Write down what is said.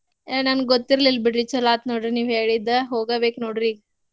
ಏ ನನ್ಗ್ ಗೊತ್ತಿರ್ಲಿಲ್ ಬಿಡ್ರಿ ಚೊಲೋ ಆತ್ ನೋಡ್ರಿ ನೀವ್ ಹೇಳಿದ್ದ ಹೋಗ ಬೇಕ್ ನೋಡ್ರಿ ಈಗ್